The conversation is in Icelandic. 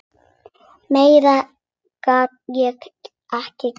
Meira get ég ekki gert.